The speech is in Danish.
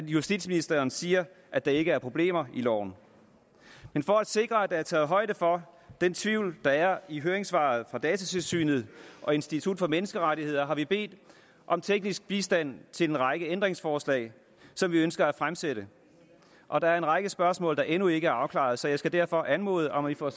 justitsministeren siger at der ikke er problemer i loven men for at sikre at der er taget højde for den tvivl der er i høringssvaret fra datatilsynet og institut for menneskerettigheder har vi bedt om teknisk bistand til en række ændringsforslag som vi ønsker at fremsætte og der er en række spørgsmål der endnu ikke er afklaret så jeg skal derfor anmode om at vi får